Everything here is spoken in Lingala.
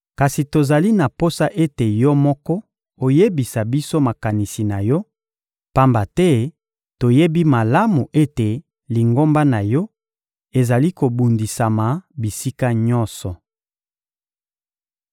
Kasi tozali na posa ete yo moko oyebisa biso makanisi na yo, pamba te toyebi malamu ete lingomba na yo ezali kobundisama bisika nyonso.